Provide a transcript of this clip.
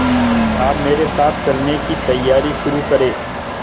आप मेरे साथ चलने की तैयारी शुरू करें